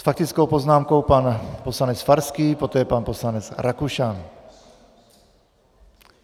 S faktickou poznámkou pan poslanec Farský, poté pan poslanec Rakušan.